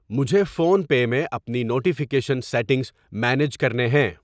مجھے فون پے میں اپنی نوٹیفیکیشن سیٹنگز مینیج کرنے ہیں۔